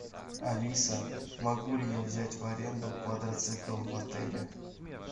алиса могу ли я взять в аренду квадроцикл в отеле